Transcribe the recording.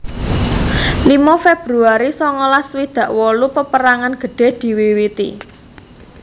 limo februari songolas swidak wolu Peperangan gedhe diwiwiti